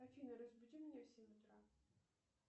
афина разбуди меня в семь утра